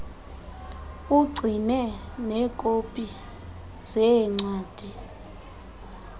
ugcine neekopi zeencwadi